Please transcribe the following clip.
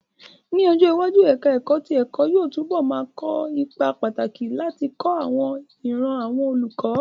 Ní ọjọ́ iwájú, ẹ̀ká ẹ̀kọ́ tí ẹ̀kọ́ yóò túbọ̀ ma kó ipa pàtàkì láti kọ́ àwọn ìran àwọn olùkọ́